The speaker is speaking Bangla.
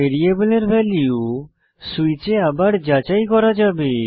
var এ ভ্যালু সুইচে আবার যাচাই করা যাবে